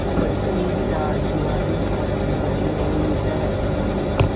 पक्की चारदीवारी बनी हुई है